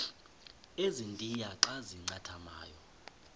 ezintia xa zincathamayo